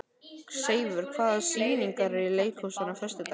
Seifur, hvaða sýningar eru í leikhúsinu á föstudaginn?